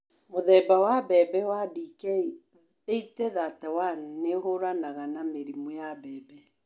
Mũthemba wa mbembe wa Dk 8031 nĩ ũhũranaga na mĩrimũ ya mbembe